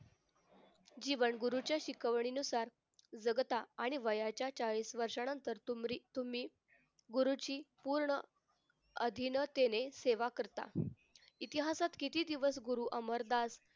जीवन गुरूच्या शिकवणीनुसार जगता आणि वयाच्या चाळीस वर्षानंतर तुम्ही गुरुची पूर्ण अधिनतेने सेवा करता इतिहासात किती दिवस गुरु अमरदास